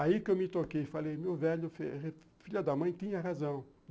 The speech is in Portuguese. Aí que eu me toquei e falei, meu velho, filha da mãe, tinha razão.